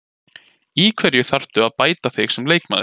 Í hverju þarftu að bæta þig sem leikmaður?